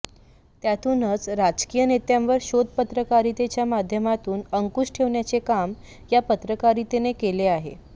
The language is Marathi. त्यातूनच राजकीय नेत्यांवर शोधपत्रकारितेच्या माध्यमातून अंकुश ठेवण्याचे काम या पत्रकारितेने केले आहे